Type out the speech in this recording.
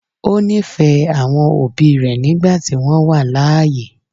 ó nífẹ̀ẹ́ àwọn òbí rẹ̀ nígbà tí wọ́n wà láàyè.